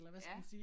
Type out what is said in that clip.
Ja